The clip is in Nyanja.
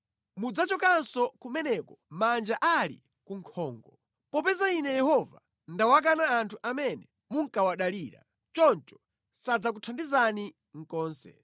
Mudzachokanso kumeneko manja ali kunkhongo. Popeza Ine Yehova ndawakana anthu amene munkawadalira, choncho sadzakuthandizani konse.